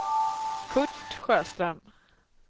Kurt Sjöström